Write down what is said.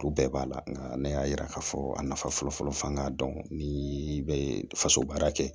U bɛɛ b'a la nka ne y'a yira k'a fɔ a nafa fɔlɔfɔlɔ fɔ an ka dɔn ni bɛ faso baara kɛ